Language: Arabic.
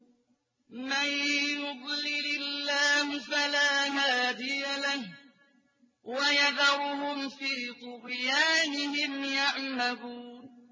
مَن يُضْلِلِ اللَّهُ فَلَا هَادِيَ لَهُ ۚ وَيَذَرُهُمْ فِي طُغْيَانِهِمْ يَعْمَهُونَ